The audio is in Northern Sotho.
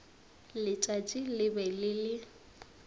letšatši le be le le